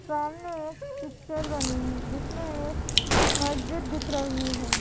सामने एक पिक्चर बनी है जिसमें एक मस्जिद दिख रही है।